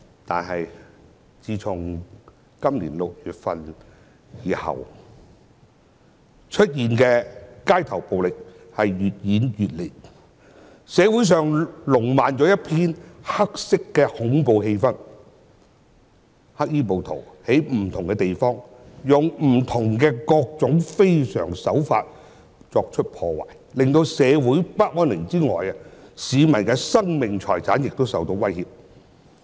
但是，自從今年6月後，街頭暴力越演越烈，社會上彌漫一片黑色恐怖氣氛，黑衣暴徒在不同地方使用各種不同的非常手法作出破壞，令社會不安寧外，市民的生命財產也受到威脅。